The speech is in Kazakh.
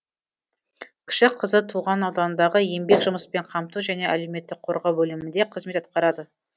кіші қызы туған ауданындағы еңбек жұмыспен қамту және әлеуметтік қорғау бөлімінде қызмет атқарады